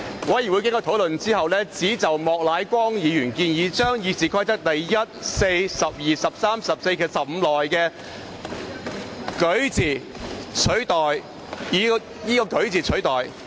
委員會經討論後，只就莫乃光議員的建議達成共識，即把《議事規則》第1、4、12、13、14及15條內的"擧"字以"舉"字取代。